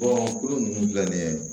ninnu filɛ nin ye